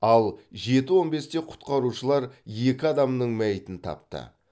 ал жеті он бесте құтқарушылар екі адамның мәйітін тапты